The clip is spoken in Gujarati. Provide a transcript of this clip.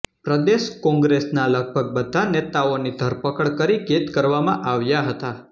પ્રદેશ કોંગ્રેસના લગભગ બધા નેતાઓની ધરપકડ કરી કેદ કરવામાં આવ્યા હતા